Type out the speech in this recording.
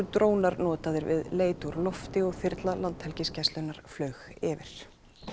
drónar notaðir við leit úr lofti og þyrla Landhelgisgæslunnar flaug yfir